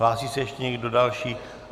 Hlásí se ještě někdo další?